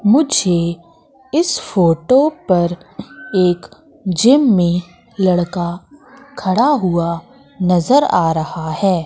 मुझे इस फोटो पर एक जिम मे लड़का खड़ा हुआ नज़र आ रहा है।